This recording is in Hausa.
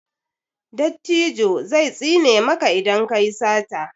dattijo zai tsine maka idan ka yi sata